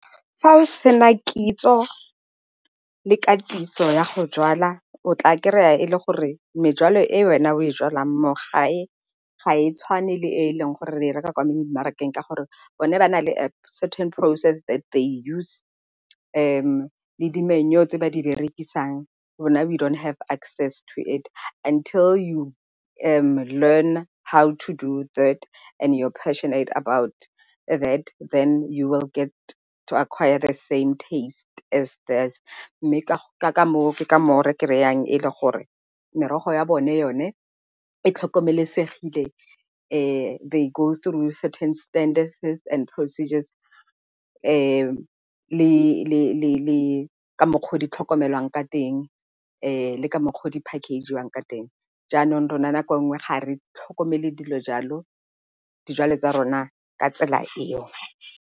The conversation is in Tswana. Fa o sena kitso le katiso ya go jwala o tla kry-a e le gore mejwalo e wena o e jwalang mo ga e tshwane le e e leng gore e reka kwa memarakeng ka gore bone ba na le a certain process they use le di-manure tse ba di berekisang rona we don't have access to it until learn to do that and you are passionate about that, then you will get to acquire the same taste as . Mme ke ka moo re kry-ang e le gore merogo ya bone yone e tlhokomelesegile. They go through certain and procedures le ka mokgwa o o ditlhokomelwang ka teng le ka mokgwa o di-package-iwang ka teng. Jaanong rona nako nngwe ga re tlhokomele dilo jalo, dijalo tsa rona ka tsela eo.